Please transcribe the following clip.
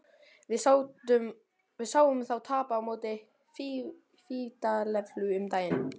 Við sáum þá tapa á móti Fíladelfíu um daginn.